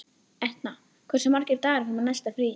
Etna, hversu margir dagar fram að næsta fríi?